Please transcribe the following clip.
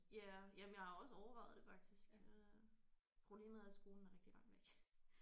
Ja ja men jeg har også overvejet det faktisk øh problemet er at skolen er rigtig langt væk